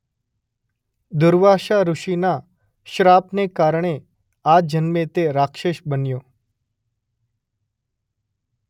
દુર્વાસા ઋષિના શ્રાપને કારણે આ જન્મે તે રાક્ષસ બન્યો.